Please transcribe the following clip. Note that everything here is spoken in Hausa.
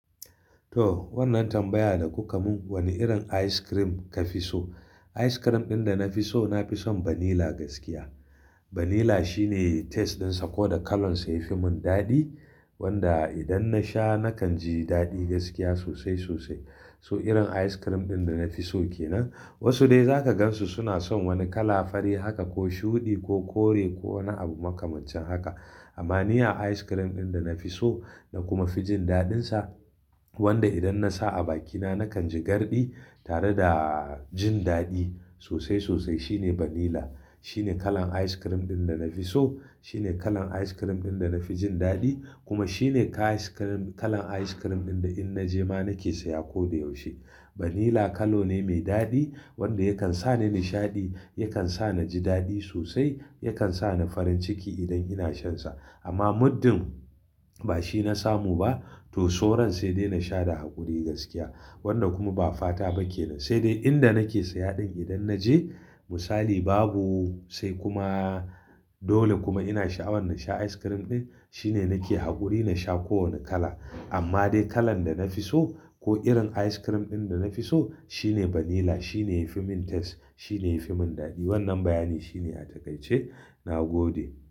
To wannan tambaya da kuka mun wane irin ice cream kafi so? Ice cream ɗin da na fi so na fi son vanilla gaskiya. Vanilla shine taste ɗinsa ko da kalan sa yafi mun dadi. Wanda idan nasha nakan ji dadi gaskiya sosai sosai. So irin ice cream ɗin da na fi so ke nan. Wasu dai zaka gansu suna son wani kala fari haka ko shuɗi ko kore ko wani abu makamancin haka. Amma ni a ice cream ɗin da na fi so na kuma fi jin daɗin sa wanda idan nasa a bakina nakan ji garɗi tare da jin dadi sosai sosai shine vanilla. Shine kalan ice cream ɗin da na fi so, shine kalan ice cream ɗin da na fi jin dadi kuma shine ka ice cream-- kalan ice cream ɗin da in naje ma nakese ya ko da yaushe. Vanilla kalo ne mai dadi wanda yakan sani nishaɗi, yakan sani ji dadi sosai, yakan sani farin ciki idan ina shansa. Amma muddin ba shi na samu ba to soran sai dai nasha da haƙuri gaskiya. Wanda kuma ba fata bake nan. Sai dai inda nake saya ɗin idan naje misali babu sai kuma dole kuma ina sha'awan nasha ice cream ɗin shine nake haƙuri nasha ko wane kala. Amma dai kalan da na fi so ko irin ice cream ɗin da na fi so shine vanilla. Shine yafi mun taste, shine yafi mun dadi. Wannan bayani shine a takaice. Na gode.